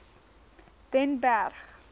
den berg